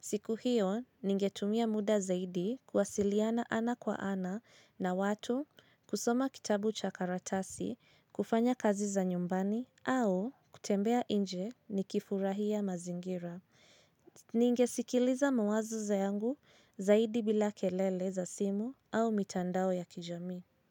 Siku hiyo ningetumia muda zaidi kwasiliana ana kwa ana na watu kusoma kitabu chakaratasi, kufanya kazi za nyumbani au kutembea inje ni kifurahia mazingira. Ningesikiliza mawazo za yangu zaidi bila kelele za simu au mitandao ya kijamii.